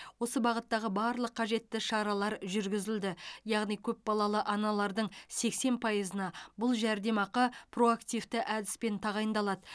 осы бағыттағы барлық қажетті шаралар жүргізілді яғни көпбалалы аналардың сексен пайызына бұл жәрдемақы проактивті әдіспен тағайындалады